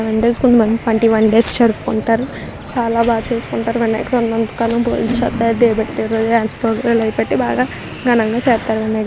Nine days minimum twenty one days జరుపుకుంటారు. చాలా బాగా చేసుకుంటారు. వినాయకుడు ఉన్నంతకాలం పెట్టి బాగా ఘనంగా చేస్తారు.